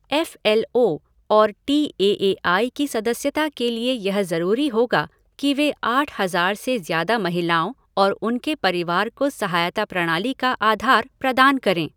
F L O और T A A I की सदस्यता के लिए यह ज़रूरी होगा कि वे आठ हज़ार से ज़्यादा महिलाओं और उनके परिवार को सहायता प्रणाली का आधार प्रदान करें।